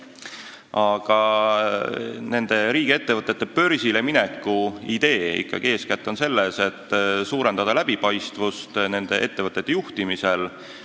Aga riigiettevõtete börsile mineku idee on ikkagi eeskätt selles, et suurendada läbipaistvust nende juhtimisel.